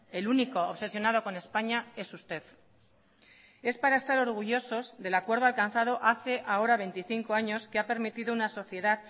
el único obsesionado con españa es usted es para estar orgullosos del acuerdo alcanzado hace ahora veinticinco años que ha permitido una sociedad